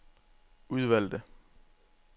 udvalgte